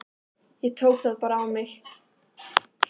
Ég tók það bara á mig.